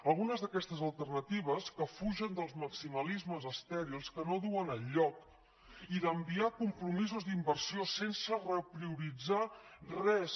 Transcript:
algunes d’aquestes alternatives que fugen dels maximalismes estèrils que no duen enlloc i d’enviar compromisos d’inversió sense reprioritzar res